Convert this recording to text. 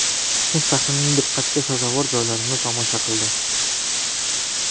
Toshkent shahrining diqqatga sazovor joylarini tomosha qildi.